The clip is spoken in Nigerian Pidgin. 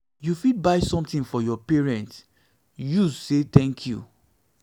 you fit buy something for your parents use say thank you